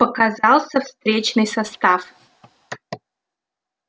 показался встречный состав